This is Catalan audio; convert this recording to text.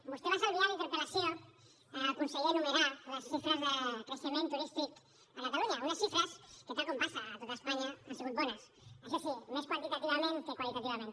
vostè es va estalviar en la interpel·lació al conseller enumerar les xifres de creixement turístic a catalunya unes xifres que tal com passa a tot espanya han sigut bones això sí més quantitativament que qualitativament